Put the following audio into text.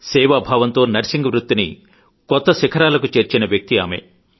సేవాభావంతో నర్సింగ్ వృత్తిని కొత్త శిఖరాలకు చేర్చిన వ్యక్తి ఆమె